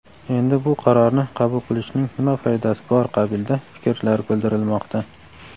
endi bu qarorni qabul qilishning nima foydasi bor qabilida fikrlar bildirilmoqda.